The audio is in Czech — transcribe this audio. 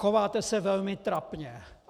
Chováte se velmi trapně.